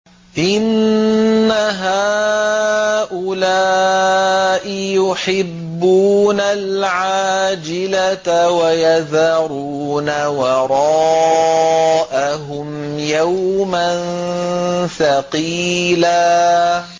إِنَّ هَٰؤُلَاءِ يُحِبُّونَ الْعَاجِلَةَ وَيَذَرُونَ وَرَاءَهُمْ يَوْمًا ثَقِيلًا